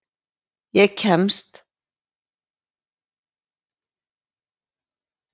Ekki kemst ég einn út í búð til þess að kaupa gjöf handa þér